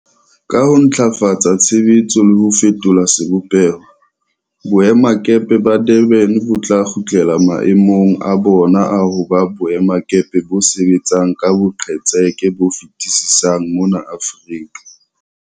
Ka ho ntlafatsa tshebetso le ho fetola sebopeho, boemakepe ba Durban bo tla kgutlela mae mong a bona a ho ba boemakepe bo sebetsang ka boqetseke bo fetisisang mona Aforika.